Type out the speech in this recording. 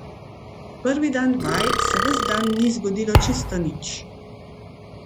Prvi dan vaj se ves dan ni zgodilo čisto nič.